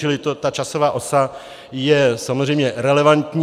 Čili ta časová osa je samozřejmě relevantní.